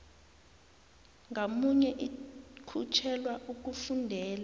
ngamunye ikhutjhelwa ukufundela